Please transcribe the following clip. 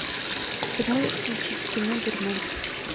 ты можешь включить кино дурман